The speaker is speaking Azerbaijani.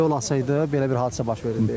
Toy olsaydı, belə bir hadisə baş verirdi.